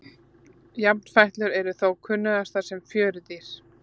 Jafnfætlur eru þó kunnugastar sem fjörudýr.